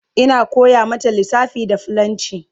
Ina koya mata lissafa da fillanci